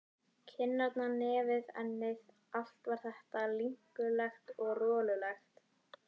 Kinnarnar, nefið, ennið, allt var þetta linkulegt og rolulegt.